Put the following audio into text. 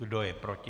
Kdo je proti?